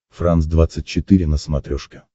франс двадцать четыре на смотрешке